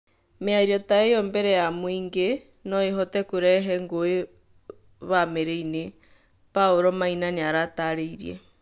Mĩario ta ĩyo mbere ya mũingĩ noĩhote kurehe ngũĩ bamĩrĩ- inĩ" Paulo Maina nĩaratarĩirie